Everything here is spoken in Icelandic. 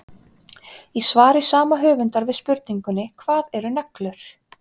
Í svari sama höfundar við spurningunni Hvað eru neglur?